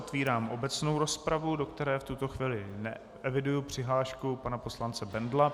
Otvírám obecnou rozpravu, do které v tuto chvíli eviduji přihlášku pana poslance Bendla.